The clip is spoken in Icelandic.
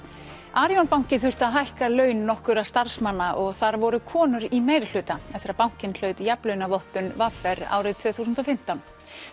Arion banki þurfti að hækka laun nokkurra starfsmanna og þar voru konur í meirihluta eftir að bankinn hlaut jafnlaunavottun v r árið tvö þúsund og fimmtán